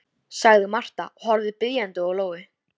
sagði Marta og horfði biðjandi á Lóu.